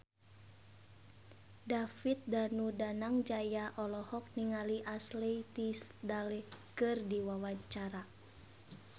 David Danu Danangjaya olohok ningali Ashley Tisdale keur diwawancara